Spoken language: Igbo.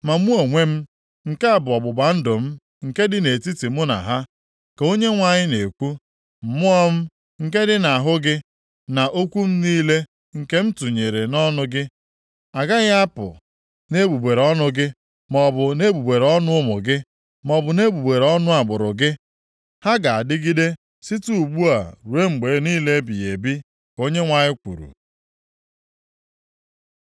“Ma mụ onwe m, nke a bụ ọgbụgba ndụ m nke dị nʼetiti mụ na ha,” ka Onyenwe anyị na-ekwu. “Mmụọ m, nke dị nʼahụ gị, na okwu m niile nke m tinyere nʼọnụ gị, agaghị apụ nʼegbugbere ọnụ gị, maọbụ nʼegbugbere ọnụ ụmụ gị, maọbụ nʼegbugbere ọnụ agbụrụ gị. Ha ga-adịgide site ugbu a ruo mgbe niile ebighị ebi,” ka Onyenwe anyị kwuru.